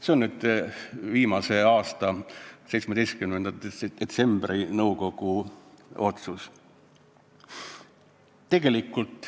See on nõukogu otsus, mis tehtud eelmise aasta 17. detsembril.